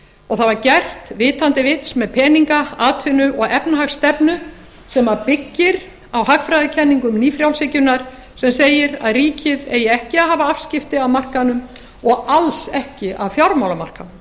og það var gert vitandi vits með peninga atvinnu og efnahagsstefnu sem byggir á hagfræðikenningum nýfrjálshyggjunnar sem segir að ríkið eigi ekki að hafa afskipti af markaðnum og alls ekki af fjármálamarkaðnum